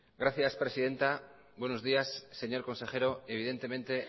gracias presidenta buenos días señor consejero evidentemente